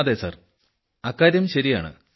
അതെ സാർ അക്കാര്യം ശരിയാണ്